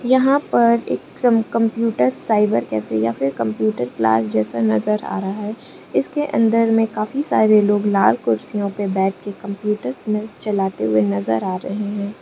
यहां पर एक सम कंप्यूटर साइबर कैफे या फिर कंप्यूटर क्लास जैसा नजर आ रहा है इसके अंदर में काफी सारे लोग लाल कुर्सियों पे बैठ के कंप्यूटर चलाते हुए नजर आ रहे हैं।